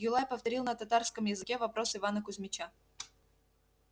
юлай повторил на татарском языке вопрос ивана кузмича